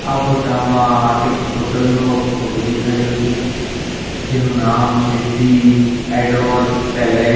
આ ફોટા માં એક હોટલ નો ફોટો દેખાઈ રહ્યો છે જેનું નામ છે ધી એડોર પેલેસ .